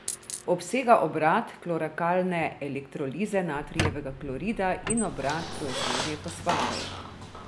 Obsega obrat kloralkalne elektrolize natrijevega klorida in obrat proizvodnje fosfatov.